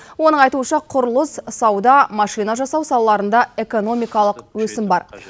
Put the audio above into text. оның айтуынша құрылыс сауда машина жасау салаларында экономикалық өсім бар